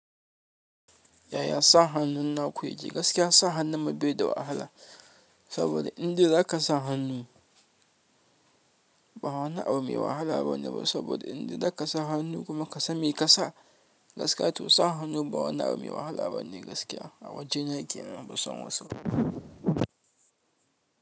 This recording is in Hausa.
Yaya sa hannun na ku yake gaskiya sa hannun mu baida wa wahala saboda indai zaka sa hannu ba wani abu mai wahala bane ba saboda indai zaka sa hannu kuma ƙasa mai kasa gaskiya to sa hannu ba wani abu mai wahala bane gaskiya a wajena yke nan banson wasu.